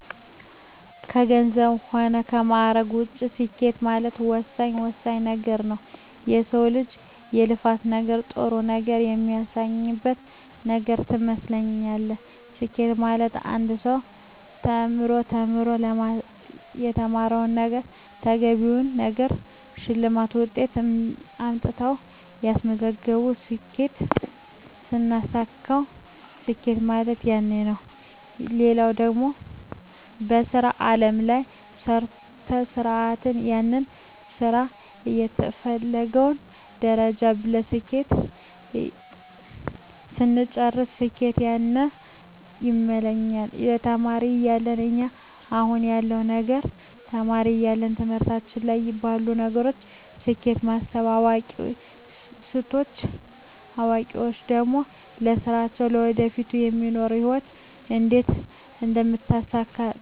ከገንዘብ ሆነ ከማእረግ ውጭ ስኬት ማለት ወሳኝ ወሳኝ ነገረ ነዉ የሰው ልጅ የልፋት ነገር ጥሩ ነገር የሚያገኝበት ነገር ትመስላለች ስኬት ማለት አንድ ሰው ተምሮ ተምሮ ለተማረዉ ነገረ ተገቢውን ነገር ሸልማት ውጤት አምጥተው ያሰብቱን ስኬት ስናሳካዉ ስኬት ማለት ያነ ነዉ ሌላው ደግሞ በሥራ አለም ላይ ሰርተ ሰርተን ያንን ስራ ከተፈለገዉ ደረጃ በስኬት ስንጨርስ ስኬት ያነ ይመስለኛል ተማሪ እያለው እና አሁን ያለዉ ነገር ተማሪ እያለው ትምህርቶች ላይ ላሉ ነገሮች ስኬት ማስብ አዋቂ ስቾን ደግሞ ለስራየ ለወደፊቱ ለሚኖሩ ህይወት እንዴት አደምታሳካቸው አስባለሁ